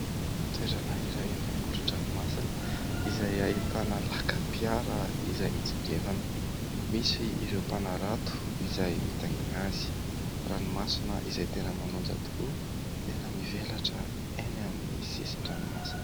Toerana iray any amoron-dranomasina izay ahitana lakam-piara izay mitsingevana. Misy ireo mpanarato izay mitaingina azy. Ranomasina izay tena manonja tokoa, tena mivelatra eny amin'ny sisin-dranomasina.